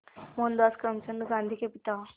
मोहनदास करमचंद गांधी के पिता